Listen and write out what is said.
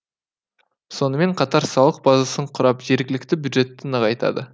сонымен қатар салық базасын құрап жергілікті бюджетті нығайтады